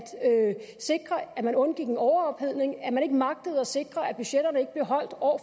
sikre at man undgik en overophedning og at man ikke magtede at sikre at budgetterne ikke blev holdt år